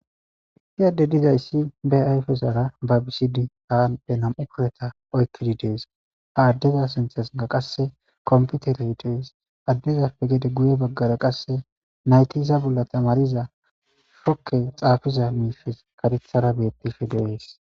hi yadde dizayssi be ayfezara ba bisidi aade nam7u kureta oykkidi dees ha addeza sinthesina qasse kompute retes addezappe gede guye baggara qasse naytiza bolla tamariza fokke xaafiza miifes katethara beettife de7ees